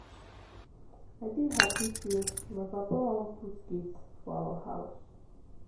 I dey happy say my papa wan put gate for our house